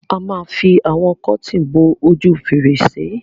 A ma fi àwọn kọ́tìn bo ojú fèrèsé.